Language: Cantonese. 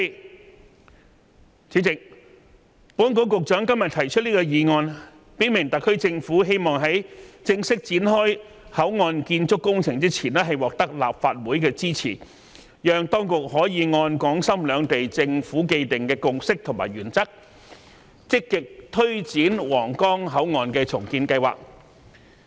代理主席，保安局局長今天提出這項議案，表明特區政府希望在正式展開口岸建築工程前，獲得立法會支持，讓當局可以按港深兩地政府既定的共識和原則，積極推展皇崗口岸重建計劃。